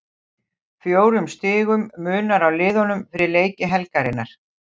Fjórum stigum munar á liðunum fyrir leiki helgarinnar.